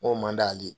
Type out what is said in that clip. N ko man d'ale ye